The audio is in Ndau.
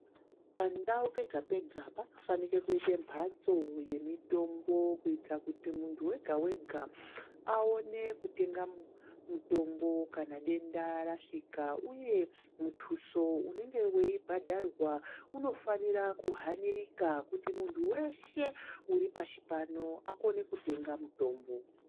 Pandau pega pega painofanira kuita mbatso yemitombo kuitira kuti muntu wega wega Aone kutenga mutombo kana denda rasvika Uye mutuso unenge weibhadharwa unofana kuhanirika kuti muntu weshe Ari pashi reshe Akone kutenga mutombo.